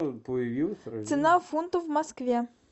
цена фунтов в москве